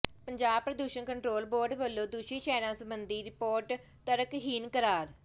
ਪੰਜਾਬ ਪ੍ਰਦੂਸ਼ਣ control board ਵੱਲੋਂ ਦੂਸ਼ਿਤ ਸ਼ਹਿਰਾਂ ਸਬੰਧੀ ਰਿਪੋਰਟ ਤਰਕਹੀਣ ਕਰਾਰ